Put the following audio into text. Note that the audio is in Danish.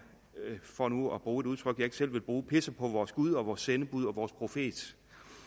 for nu at bruge et udtryk jeg ikke selv ville bruge pisser på vores gud og vores sendebud og vores profet